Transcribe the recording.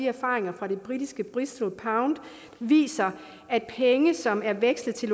erfaringerne med det britiske bristolpund viser at penge som er vekslet til